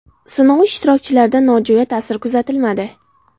Sinov ishtirokchilarida nojo‘ya ta’sir kuzatilmadi.